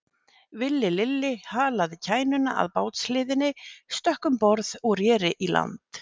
Villi Lilli halaði kænuna að bátshliðinni, stökk um borð og reri í land.